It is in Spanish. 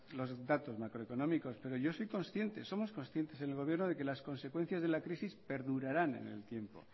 los datos macroeconómicos pero yo soy consciente somos conscientes en el gobierno de que las consecuencias de la crisis perdurarán en el tiempo